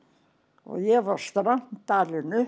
og ég var strangt alin upp